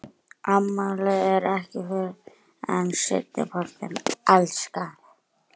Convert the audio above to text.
Afmælið er ekki fyrr en seinni partinn, elskan.